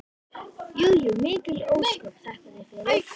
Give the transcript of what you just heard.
Jú jú, mikil ósköp, þakka þér fyrir.